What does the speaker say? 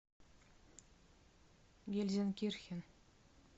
гельзенкирхен